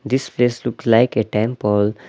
This place looks like a temple .